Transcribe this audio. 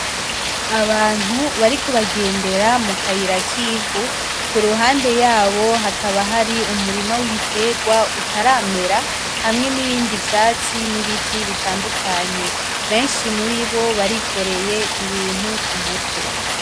Abantu bariko bagendera mukayira kivu. kuruhande yabo hakaba Hari Umurima w'ibiterwa utaramera hamwe n'ibindi vyatsi n'ibiti bitandukanye benshi muribo barikoreye Ibintu kumutwe.